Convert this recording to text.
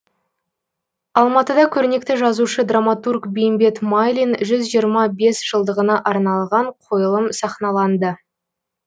алматыда көрнекті жазушы драматург бейімбет майлин жүз жиырма бес жылдығына арналған қойылым сахналанды